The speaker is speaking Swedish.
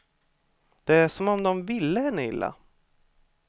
Det är som om de ville henne illa.